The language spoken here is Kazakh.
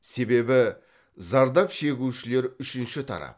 себебі зардап шегушілер үшінші тарап